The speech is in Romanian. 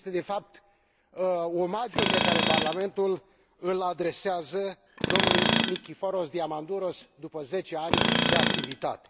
Este, de fapt, omagiul pe care Parlamentul îl adresează domnului Nikiforos Diamandouros, după 10 ani de activitate.